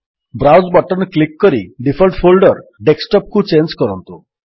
browse button click କରି default folder desktop କୁ change କରନ୍ତୁ